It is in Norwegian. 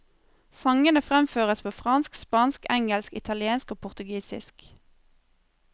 Sangene fremføres på fransk, spansk, engelsk, italiensk og portugisisk.